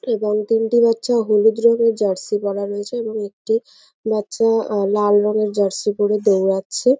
এবং তিনটি বাচ্চা হলুদ রঙের জার্সি পরা রয়েছে এবং একটি বাচ্চা উম লাল রঙের জার্সি পরে দৌড়াচ্ছে।